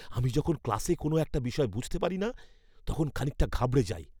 আমি যখন ক্লাসে কোনও একটা বিষয় বুঝতে পারি না তখন খানিকটা ঘাবড়ে যাই!